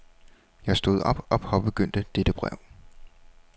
Jeg stod op og påbegyndte dette brev.